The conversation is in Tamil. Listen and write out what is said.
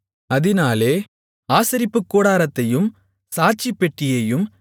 அதினாலே ஆசரிப்புக்கூடாரத்தையும் சாட்சிப்பெட்டியையும்